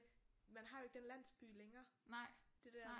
Man har jo ikke den landsby længere det der